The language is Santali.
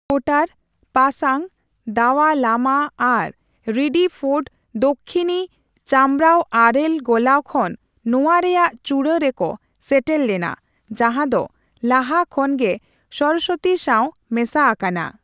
ᱠᱳᱴᱟᱨ, ᱯᱟᱥᱟᱝ ᱫᱟᱣᱟ ᱞᱟᱢᱟ ᱟᱨ ᱨᱤᱰᱤ ᱯᱷᱳᱨᱰ ᱫᱚᱠᱠᱷᱤᱱᱤ ᱪᱟᱢᱨᱟᱣ ᱟᱨᱮᱞ ᱜᱚᱞᱟᱣ ᱠᱷᱚᱱ ᱱᱚᱣᱟ ᱨᱮᱭᱟᱜ ᱪᱩᱲᱟᱹ ᱨᱮᱠᱚ ᱥᱮᱴᱮᱨ ᱞᱮᱱᱟ ᱡᱟᱦᱟᱸ ᱫᱚ ᱞᱟᱦᱟ ᱠᱷᱚᱱᱜᱮ ᱥᱚᱨᱚᱥᱚᱛᱤ ᱥᱟᱣ ᱢᱮᱥᱟ ᱟᱠᱟᱱᱟ ᱾